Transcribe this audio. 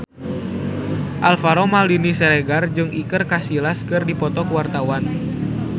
Alvaro Maldini Siregar jeung Iker Casillas keur dipoto ku wartawan